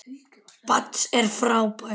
Mads er frábær.